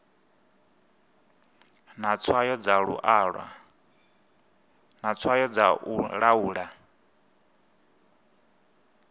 na tswayo dza u laula